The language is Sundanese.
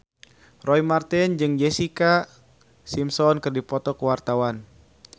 Roy Marten jeung Jessica Simpson keur dipoto ku wartawan